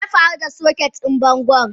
Meyafaru da soket din bangon?